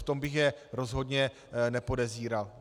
V tom bych je rozhodně nepodezíral.